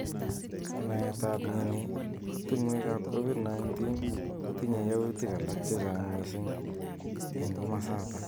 Naet ab mnyeni bo tungwek ab covid kotinye yautik alak chechang mising eng kimosatak.